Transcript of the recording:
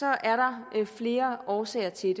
er der flere årsager til